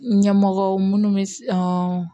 Ɲɛmɔgɔw munnu bɛ